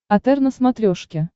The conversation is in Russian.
отр на смотрешке